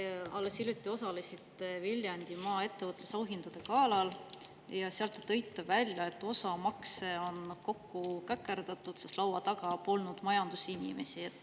Te alles hiljuti osalesite Viljandimaa ettevõtluse auhindade galal ja tõite seal välja, et osa makse on kokku käkerdatud, sest laua taga polnud majandusinimesi.